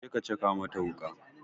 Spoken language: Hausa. Je ka caka mata wuƙa!